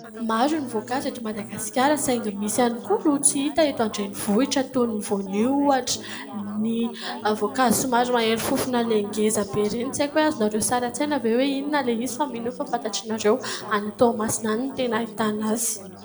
Maro ny voankazo eto Madagasikara , saingy misy ihany ko no tsy hita eto an-dreninvohitra toy ny vonio , ny voankazo somary mahery fofona le ngeza be ireny ireny tsy aiko hoe azony nareo an-tsaina ve hoe inona le izy? Any Toamasina any no tena ahitana an'le izy